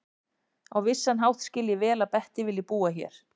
Á vissan hátt skil ég vel að Bettý vilji búa hér.